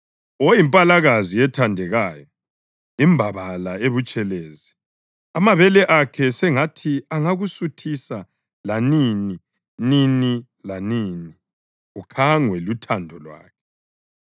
Oyimpalakazi ethandekayo, imbabala ebutshelezi amabele akhe sengathi angakusuthisa lanini, nini lanini ukhangwe luthando lwakhe.